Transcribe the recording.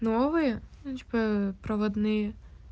новые ну типо проводные